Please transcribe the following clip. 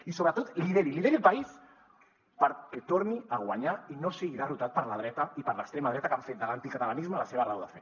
i sobretot lideri lideri el país perquè torni a guanyar i no sigui derrotat per la dreta i per l’extrema dreta que han fet de l’anticatalanisme la seva raó de fer